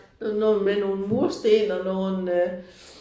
Noget med nogle mursten og nogle